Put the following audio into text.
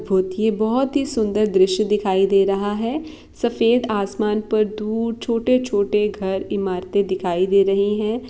बोहोत ही सुंदर दृश्य दिखाई दे रहा है सफेद आसमान पर दूर छोटे-छोटे घर इमारते दिखाई दे रही है